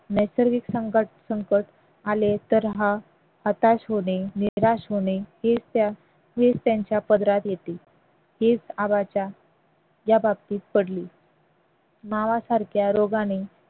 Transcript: नैसर्गिक संकट संकट आले तर हा हताश होणे निराश होणे हेच त्या हेच त्यांच्या पदरात येते हेच आबाच्या या बाबतीत पडली मावासारख्या रोगाने